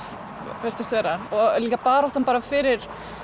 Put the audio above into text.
virtist vera og líka baráttan fyrir